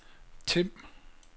Tim